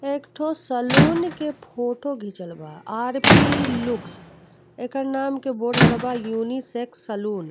एक ठो सैलून के फोटो घीचल बा आर.पी. लुक्स एकर नाम के बोर्ड लागल बा यूनिसेक्स सैलून ।